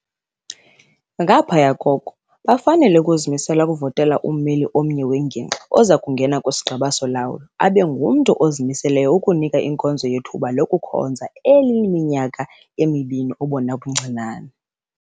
Ngaphaya koko, bafanele ukuzimisela ukuvotela ummeli omnye wengingqi oza kungena kwisiGqeba soLawulo abe ngumntu ozimiseleyo ukunika inkonzo yethuba lokukhonza eliyiminyaka emibini obona buncinane.